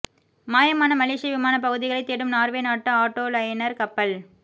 மாயமான மலேசிய விமான பகுதிகளை தேடும் நார்வே நாட்டு ஆட்டோ லைனர் கப்பல்